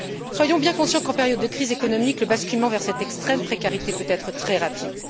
Soyons bien conscients qu'en période de crise économique, le basculement vers cette extrême précarité peut être très rapide.